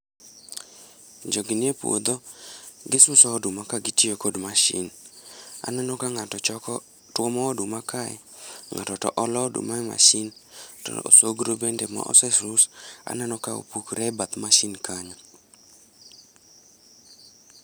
Jogi nie puodho gisuso oduma ka gitiyo kod mashin. Aneno ka ng'ato choko, tuomo oduma kae, ng'ato to olo oduma e mashin to osogro be ma ose sus aneno ka opukre e bath mashin kanyo